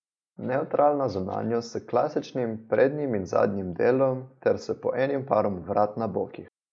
Nevtralna zunanjost s klasičnim prednjim in zadnjim delom ter s po enim parom vrat na bokih.